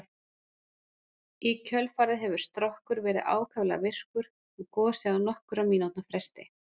Í kjölfarið hefur Strokkur verið ákaflega virkur og gosið á nokkurra mínútna fresti.